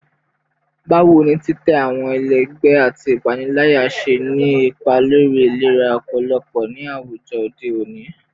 Bawo ni titẹ awọn ẹlẹgbẹ ati ipanilaya ṣe ni ipa lori ilera ọpọlọ ni awujọ ode oni?